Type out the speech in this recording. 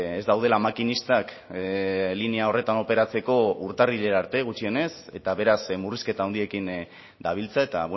ez daudela makinistak linea horretan operatzeko urtarrilera arte gutxienez eta beraz murrizketa handiekin dabiltza eta